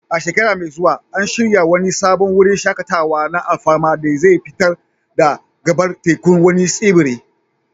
A shekara mai zuwa, an shirya wani sabon wurin shaƙatawa na alfarma da zai fito da gabar tekun wani tsibiri.